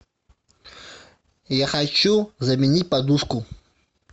я хочу заменить подушку